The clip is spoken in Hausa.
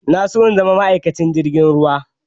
Na so in zama ma'aikacin jirgin ruwa